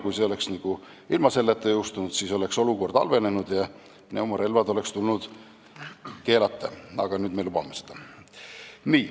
Kui seadus oleks ilma selle klauslita jõustunud, siis oleks olukord halvenenud ja pneumorelvad oleks tulnud keelata, aga nüüd me lubame neid.